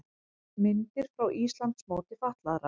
Myndir frá Íslandsmóti fatlaðra